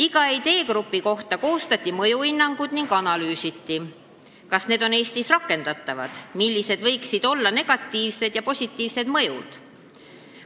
Iga ideegrupi kohta koostati mõjuhinnangud ning analüüsiti, kas need ideed on Eestis rakendatavad ning millised võiksid olla nende negatiivsed ja positiivsed mõjud.